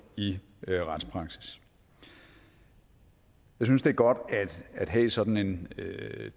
i retspraksis jeg synes det er godt at have sådan en